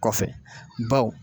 Kɔfɛ baw